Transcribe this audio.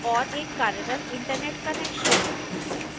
एक कार्यरत internet connection